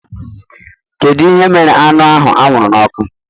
Kedu ihe mere anụ ahụ anwụrụ n'ọkụ?